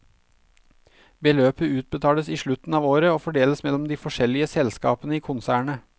Beløpet utbetales i slutten av året og fordeles mellom de forskjellige selskapene i konsernet.